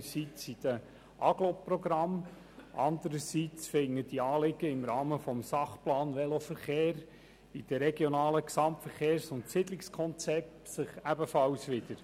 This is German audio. Dazu gibt es einerseits die Agglomerationsprogramme und anderseits finden sich diese Anliegen im Rahmen des Sachplans Veloverkehr in den RGSK ebenfalls wieder.